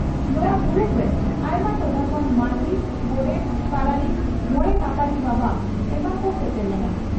ᱱᱚᱣᱟ ᱫᱩᱯᱲᱩᱵᱨᱮ ᱟᱭᱢᱟ ᱴᱚᱴᱷᱟ ᱠᱷᱚᱱ ᱢᱟᱹᱡᱷᱤ, ᱜᱚᱰᱮᱛ, ᱯᱟᱨᱟᱱᱤᱠ, ᱢᱚᱬᱮ ᱢᱟᱯᱟᱡᱤ ᱵᱟᱵᱟ ᱮᱢᱟᱱ ᱠᱚ ᱥᱮᱴᱮᱨ ᱞᱮᱱᱟ ᱾